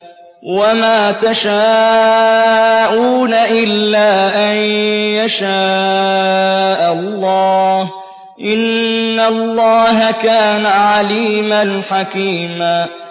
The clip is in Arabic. وَمَا تَشَاءُونَ إِلَّا أَن يَشَاءَ اللَّهُ ۚ إِنَّ اللَّهَ كَانَ عَلِيمًا حَكِيمًا